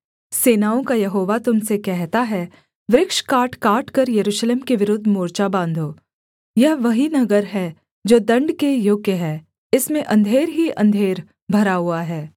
सेनाओं का यहोवा तुम से कहता है वृक्ष काटकाटकर यरूशलेम के विरुद्ध मोर्चा बाँधो यह वही नगर है जो दण्ड के योग्य है इसमें अंधेर ही अंधेर भरा हुआ है